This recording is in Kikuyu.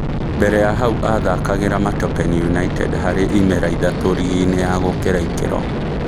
Mbere ya hau athakagĩra Matopeni United harĩ imera ithatũ rigi-inĩ ya gũkĩra ikĩro.